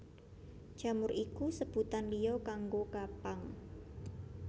Jamur iku sebutan liya kanggo kapang